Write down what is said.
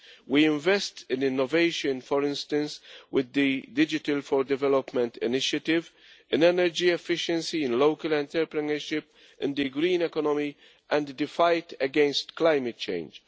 We invest in innovation, for instance, with the Digital4Development initiative, in energy efficiency, in local entrepreneurship, in the Green Economy and in the fight against climate change.